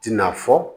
Tina fɔ